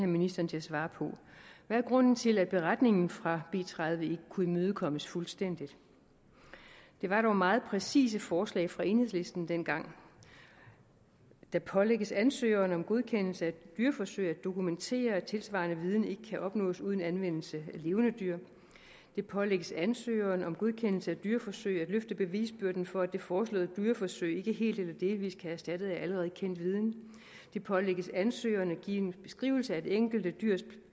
ministeren til at svare på hvad er grunden til at beretningen fra b tredive ikke kunne imødekommes fuldstændigt det var dog meget præcise forslag fra enhedslisten dengang … det pålægges ansøgeren om godkendelse af et dyreforsøg at dokumentere at tilsvarende viden ikke kan opnås uden anvendelse af levende dyr … det pålægges ansøgeren om godkendelse af dyreforsøg at løfte bevisbyrden for at det foreslåede dyreforsøg ikke helt eller delvis kan erstattes af allerede kendt viden … det pålægges ansøgeren at give en beskrivelse af det enkelte dyrs